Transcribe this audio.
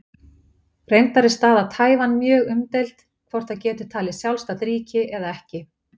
Reyndar er staða Taívan mjög umdeild, hvort það getur talið sjálfstætt ríki eða ekki.